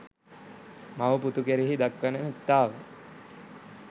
මව පුතු කෙරෙහි දක්වන මෙත්තාව